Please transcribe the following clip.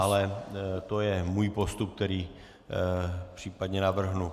Ale to je můj postup, který případně navrhnu.